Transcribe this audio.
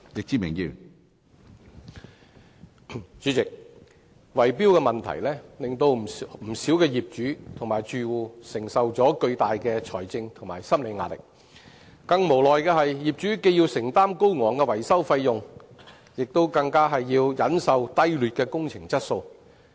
主席，圍標問題令不少業主和住戶承受巨大的財政及心理壓力，更無奈的是，業主既要承擔高昂維修費用，更要忍受低劣的工程質素。